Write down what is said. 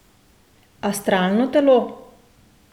Astralno telo?